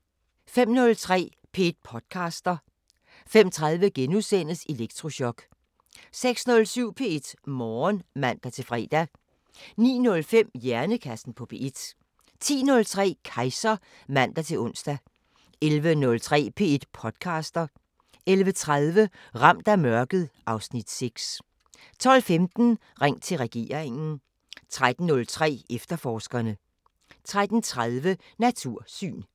05:03: P1 podcaster 05:30: Elektrochok * 06:07: P1 Morgen (man-fre) 09:05: Hjernekassen på P1 10:03: Kejser (man-ons) 11:03: P1 podcaster 11:30: Ramt af mørket (Afs. 6) 12:15: Ring til regeringen 13:03: Efterforskerne 13:30: Natursyn